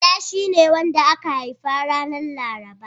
Bala shine wanda aka haifa ranar Laraba.